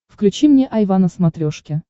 включи мне айва на смотрешке